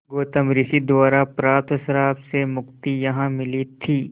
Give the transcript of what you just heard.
गौतम ऋषि द्वारा प्राप्त श्राप से मुक्ति यहाँ मिली थी